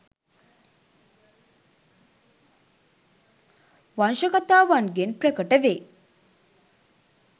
වංශකතාවන්ගෙන් ප්‍රකට වේ.